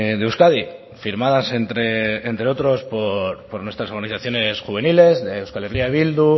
de euskadi firmadas entre otros por nuestras organizaciones juveniles de euskal herria bildu